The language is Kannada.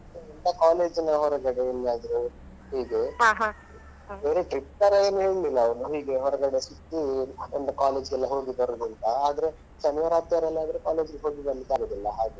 ಇಲ್ಲ college ನ ಹೊರಗಡೆ ಎಲ್ಲಿಯಾದ್ರೂ ಹೀಗೆ ಬೇರೆ trip ತರ ಏನ್ ಹೇಳಿಲ್ಲ ಅವ್ರು ಹೀಗೆ ಹೊರಗಡೆ ಸುತ್ತಿ ಒಂದು college ಗೆಲ್ಲ ಹೋಗಿ ಬರುದು ಅಂತ ಆದ್ರೆ ಶನಿವಾರ, ಆದಿತ್ಯವಾರ ಎಲ್ಲ ಆದ್ರೆ college ಗೆ ಹೋಗಿ ಬರ್ಲಿಕ್ಕೆ ಆಗುದಿಲ್ಲ ಹಾಗೆ.